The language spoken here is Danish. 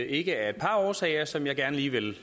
ikke af et par årsager som jeg gerne lige vil